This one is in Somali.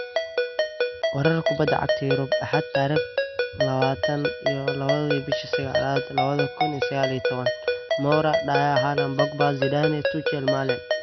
Warar Kubbada Cagta Yurub Axad tarikh lawatan iyo lawa bishi saqalad lawadha kun iyosaqaliyotawan: Moura, Dier, Haaland, Pogba, Zidane, Tuchel, Malen